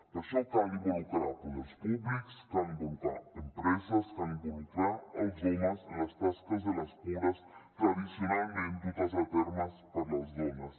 per això cal involucrar poders públics cal involucrar empreses cal involucrar els homes en les tasques de les cures tradicionalment dutes a terme per les dones